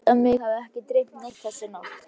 Ég held að mig hafi ekki dreymt neitt þessa nótt.